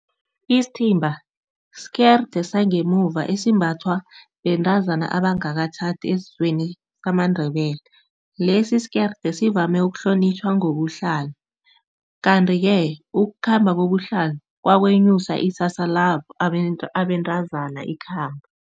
Isthimba skerde sangemuva esimbathwa bentazana abangakatjhadi esizweni samaNdebele. Lesi isikerde sivame ukuhlonitjhwa ngobuhlalo, kanti-ke ukukhamba kobuhlalo kwakwenyusa isasa labo abentazana ikhambo.